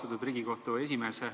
Austatud Riigikohtu esimees!